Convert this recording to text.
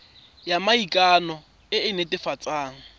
ya maikano e e netefatsang